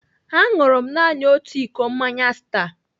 Aṅụrụ m naanị otu iko mmanya Star.